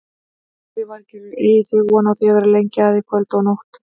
Lillý Valgerður: Eigið þið von á því að vera lengi að í kvöld og nótt?